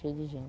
Cheio de